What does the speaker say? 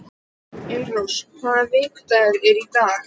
Elírós, hvaða vikudagur er í dag?